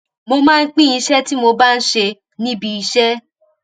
mo máa ń pín iṣé tí mo bá ń ṣe níbi iṣé